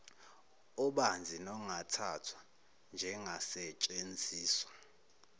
obanzi nongathathwa njengasetshenziswa